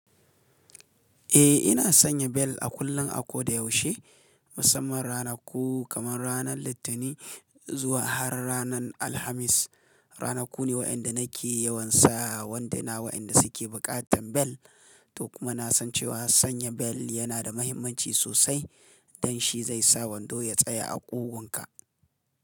Eh ina sanya bel a kullum a koda yaushe musamman rana ku kamar ranar litinin zuwa har ranar Alhamis. Rana ku ne wa'yanda nake yawan sawa wanduna waɗanda suke buƙatan bel. To kuma na san cewa sanya bel yana da mahimmanci sosai don shi zai sa wando ya tsaya a ƙugunka.